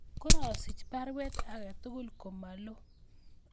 korasich baruet agetugul komalo